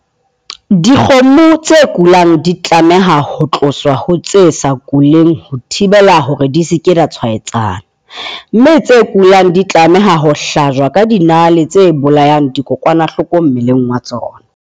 Dikgomo tse kulang di tlameha ho tloswa ha tse sa kuleng ho thibela hore di se ke tsa tshwaetsana. Mme tse kulang di tlameha ho hlajwa ka dinale tse bolayang dikokwanahloko mmeleng wa tsona.